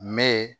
Mɛ